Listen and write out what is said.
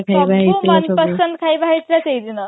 ସବୁ ମନପସନ୍ଦ ଖାଇବା ହେଇଥିଲା ସେଇଦିନ